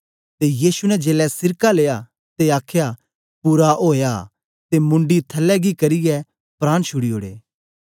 ते यीशु ने जेलै सिरका लिया ते आखया पूरा ओया ते मुंडी थलै गी करियै प्राण छुड़ी ओड़े